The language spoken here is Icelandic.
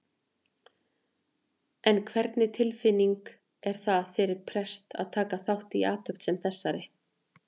En hvernig tilfinning er það fyrir prest að taka þátt í athöfn sem þessari?